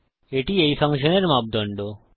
এটি এই ফাংশনের মাপদন্ড